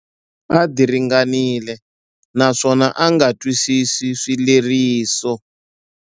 A diringanile naswona a nga twisisi swileriso.